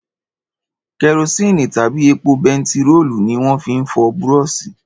Kẹrosíni tàbí epo bentiróòlù ni wọ́n fi ń fọ búrọ̀ṣì